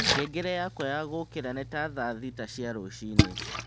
ngengere yakwa ya gũũkĩra nĩ ta thaa thita cia rũciini